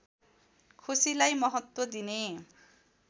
खुसीलाई महत्त्व दिने